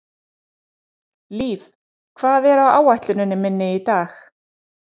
Liv, hvað er á áætluninni minni í dag?